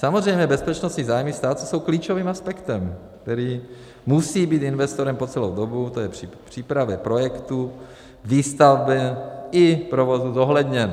Samozřejmě bezpečnostní zájmy státu jsou klíčovým aspektem, který musí být investorem po celou dobu, tj. při přípravě projektu, výstavbě i provozu, zohledněn.